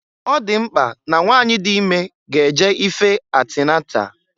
Ọ dị mkpa na nwanyị dị ime ga-eje ife antinatal.